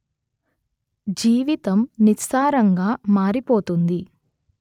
జీవితం నిస్సారంగా మారిపోతుంది